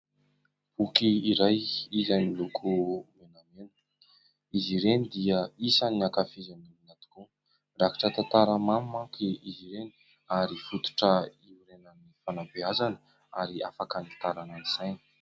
Boky iray izay miloko menamena, izy ireny dia isan'ny hankafizin'ny olona tokoa. Mirakitra tantara mamy manko izy ireny ary fototra hiorenan'ny fanabeazana ary afaka hanitarana ny saina.